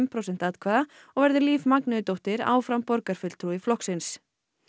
prósent atkvæða og verður Líf áfram borgarfulltrúi flokksins